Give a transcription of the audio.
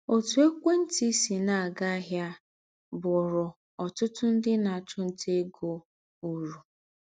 Òtú ékwé ntị sì nà - ága áhịa bụ̀ụrụ ọ̀tụ̀tụ̀ ńdị na - àchụ nta égo ūrù.